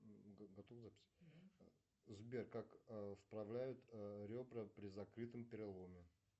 сбер как вправляют ребра при закрытом переломе